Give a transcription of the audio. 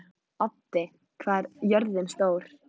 Addi, hvað er jörðin stór?